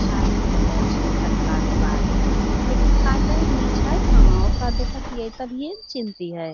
छाल गिरलो अछे कटला के बाद लेकिंन काटय लि छै कहाँ ओकरा देखइत हिए तब हीए ना चिन्ह्ति है |